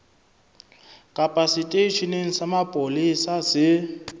kapa seteisheneng sa mapolesa se